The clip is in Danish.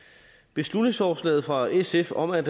beslutningsforslaget fra sf om at